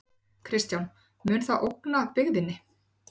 Kristján: Mun það ógna byggðinni?